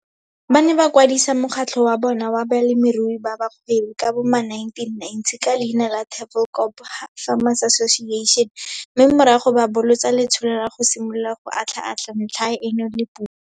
Ba ne ba kwadisa mokgatlho wa bona wa balemirui ba bagwebi ka bo ma1990 ka leina la Tafelkop Farmers Association mme morago ba bolotsa letsholo la go simolola go atlhaatlha ntlha eno le puso.